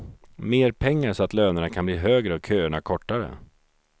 Mer pengar så att lönerna kan bli högre och köerna kortare.